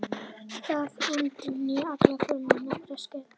Það endurnýjar allar frumur á nokkrum sekúndum.